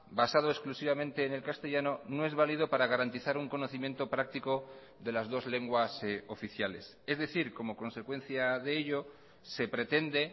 basado exclusivamente en el castellano no es válido para garantizar un conocimiento práctico de las dos lenguas oficiales es decir como consecuencia de ello se pretende